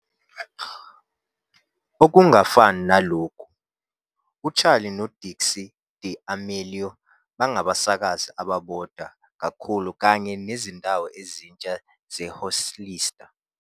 "Okungafani nalokhu- UCharli noDixie D'Amelio Bangabasakazi Ababodwa kakhulu kanye Nezindawo Ezintsha zeHollister".